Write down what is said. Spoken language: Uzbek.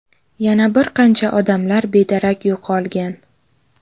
Yana bir qancha odamlar bedarak yo‘qolgan.